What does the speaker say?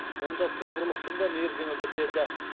онда цифрлықтың да мерзімі бітеді